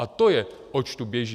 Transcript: A to je, oč tu běží.